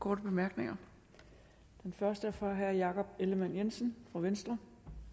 korte bemærkninger og den første er fra herre jakob ellemann jensen fra venstre